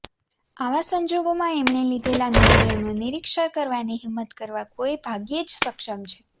આવા સંજોગોમાં એમણે લીધેલા નિર્ણયોનું નીરક્ષીર કરવાની હિંમત કરવા કોઇ ભાગ્યે જ સક્ષમ છે